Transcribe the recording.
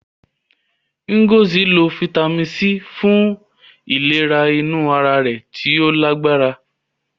Ngozi lo Fítámìnì C fun ìlera inú ara tí ó lágbára.